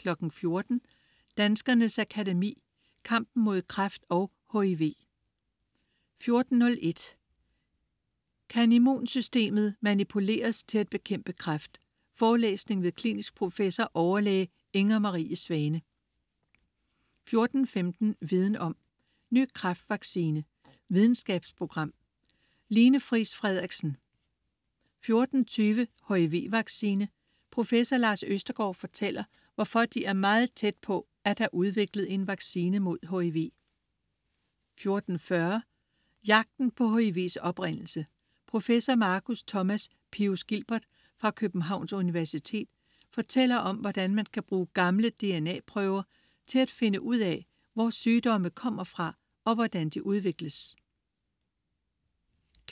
14.00 Danskernes Akademi: Kampen mod kræft og HIV 14.01 Kan immunsystemet manipuleres til at bekæmpe kræft? Forelæsning ved klinisk professor, overlæge Inger Marie Svane 14.15 Viden Om. Ny kræftvaccine. Videnskabsprogram. Line Friis Frederiksen 14.20 Hiv-vaccine. Professor Lars Østergaard fortæller, hvorfor de er meget tæt på at have udviklet en vaccine mod HIV 14.40 Jagten på HIV's oprindelse. Professor Marcus Thomas Pius Gilbert fra Københavns Universitet fortæller om, hvordan man kan bruge gamle DNA-prøver til at finde ud af, hvor sygdomme kommer fra og hvordan de udvikles